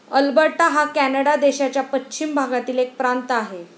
Alberta हा Canada देशाच्या पश्चिम भागातील एक प्रांत आहे.